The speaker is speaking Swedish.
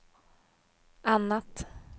annat